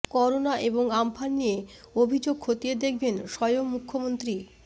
corona এবং Amphan নিয়ে অভিযোগ খতিয়ে দেখবেন স্বয়ং মুখ্যমন্ত্রী